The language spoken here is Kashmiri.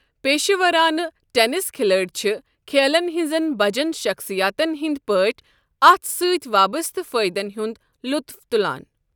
پیشورانہٕ ٹینس کھلٲڑۍ چھ کھیلن ہٕنٛزن بجن شخصیاتن ہٕنٛدِ پٲٹھۍ اتھ سۭتۍ وابسطہٕ فٲیدن ہنٛد لطف تلان۔